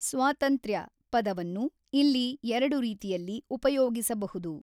ಸ್ವಾತಂತ್ರ್ಯ ಪದವನ್ನು ಇಲ್ಲಿ ಎರಡು ರೀತಿಯಲ್ಲಿ ಊಪಯೋಗಿಸಬಹುದು.